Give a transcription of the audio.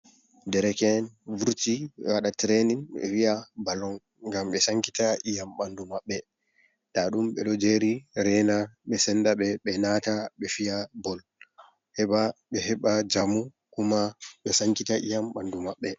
Dereken vurti waɗa trenin ɓe wi'a ballong ngam ɓe sankita iyam ɓanɗu maɓɓe, nda ɗum ɓeɗo jeri reina ɓe senda ɓe, ɓe nata ɓe fiya bol, heɓa ɓe heɓa njamu kuma ɓe sankita iyam ɓandu maɓɓe.